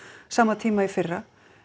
sama tíma í fyrra